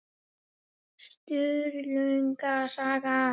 Sturlunga saga.